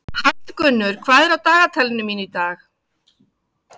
Hallgunnur, hvað er á dagatalinu mínu í dag?